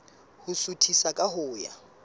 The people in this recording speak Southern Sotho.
ho suthisa ka ho ya